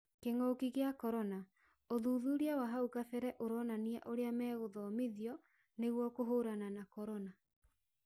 Kingũki kia corona:ũthuthuria wa hau kabera ũronania ũrĩa mekũthomithwa nĩguo kũhũrana na corona